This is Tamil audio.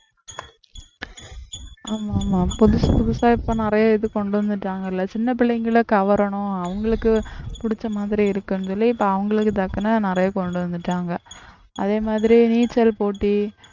ஆமா ஆமா புதுசு புதுசா இப்ப நிறைய இது கொண்டு வந்துட்டாங்க இல்லை சின்ன பிள்ளைங்களை கவரணும் அவங்களுக்கு புடிச்ச மாதிரி இருக்குன்னு சொல்லி இப்ப அவங்களுக்கு தக்கன நிறைய கொண்டு வந்துட்டாங்க அதே மாதிரி நீச்சல் போட்டி